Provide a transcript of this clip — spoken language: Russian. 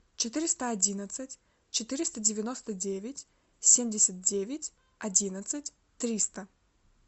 четыреста одиннадцать четыреста девяносто девять семьдесят девять одиннадцать триста